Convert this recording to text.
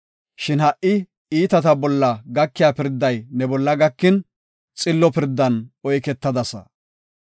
Shin ha77i iitata bolla gakiya pirday ne bolla gakin; xillo pirdan oyketadasa.